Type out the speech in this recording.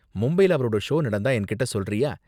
மும்பைல அவரோட ஷோ நடந்தா என்கிட்ட சொல்றியா?